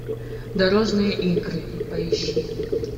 дорожные игры поищи